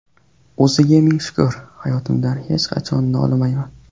O‘ziga ming shukr, hayotimdan hech qachon nolimayman.